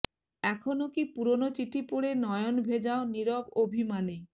এখনো কি পুরনো চিঠি পড়ে নয়ন ভেজাও নিরব অভিমানে